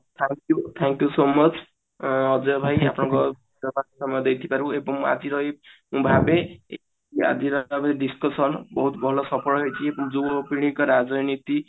thank you so much ଅ ଅଜୟ ଭାଇ ଏବଂ ଆଜିର ଏଇ ଭାବେ ଆଜିର ଯାହାବି discussion ବହୁତ ଭଲ ସଫଳ ହେଇଛି ଯୁବପିଢିଙ୍କ ରାଜନୀତି